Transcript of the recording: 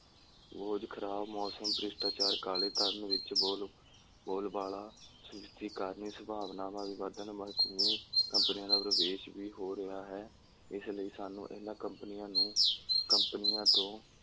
ਬੋਝ, ਖਰਾਬ ਮੌਸਮ, ਭ੍ਰਿਸ਼ਟਾਚਾਰ, ਕਾਲੇ ਧਨ ਵਿੱਚ ਬੋਲ, ਬੋਲਬਾਲਾ, ਜਿਸਦੇ ਕਾਰਨ ਇਹ ਸੰਭਾਵਨਾਵਾਂ ਵੀ ਵਧਣ ਕੰਪਨੀਆਂ ਦਾ ਪ੍ਰਵੇਸ਼ ਵੀ ਹੋ ਰਿਹਾ ਹੈ, ਇਸ ਲਈ ਸਾਨੂੰ ਇਹਨਾਂ ਕੰਪਨੀਆਂ ਨੂੰ, ਕੰਪਨੀਆਂ ਤੋਂ,